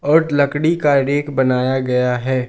और लकड़ी का रैक बनाया गया हैं।